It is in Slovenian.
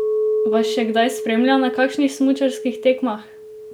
Vas še kdaj spremlja na kakšnih smučarskih tekmah?